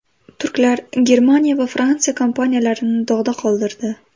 Turklar Germaniya va Fransiya kompaniyalarini dog‘da qoldirdi.